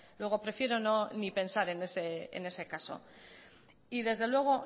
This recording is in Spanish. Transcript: luego prefiero ni pensar en ese caso y desde luego